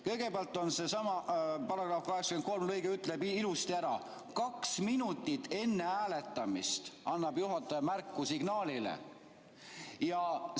Kõigepealt, seesama § 83 lõige ütleb ilusti ära: kaks minutit enne hääletamist annab juhataja signaaliga märku.